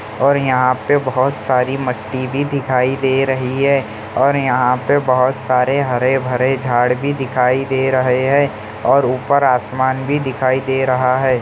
और यहाँ पे बहुत सारी मिट्टी भी दिखाई दे रही है और यहाँ पे बहुत सारे झाड़ भी दिखाई दे रहे हैं और ऊपर आसमान भी दिखाई दे रहा है।